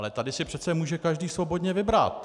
Ale tady si přece může každý svobodně vybrat.